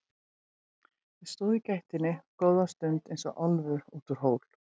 Ég stóð í gættinni góða stund eins og álfur út úr hól.